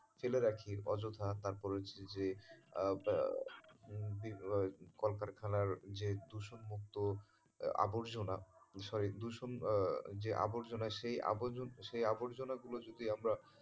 ফেলে রাখি অযথা তারপর হচ্ছে যে আহ ওই কলকারখানার যে দূষণমুক্ত আবর্জনা দূষণ, আহ যে আবর্জনা সেই আবর~সেই আবর্জনা গুলো যদি আমরা,